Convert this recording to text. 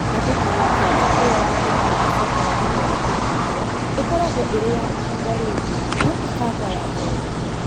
Angĩkorũo kanja ĩyo ya mbere nĩ ĩcokaga thutha wa kũrigitwo, ĩkoragwo ĩrĩ ya ihinda rĩngĩ, no ti kanja ya kerĩ.